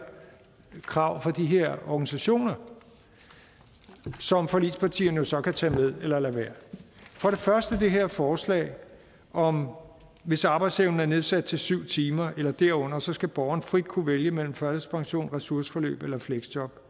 krav fra de her organisationer som forligspartierne jo så kan tage med eller lade være for det første er der det her forslag om at hvis arbejdsevnen er nedsat til syv timer eller derunder skal borgeren frit kunne vælge mellem førtidspension ressourceforløb eller fleksjob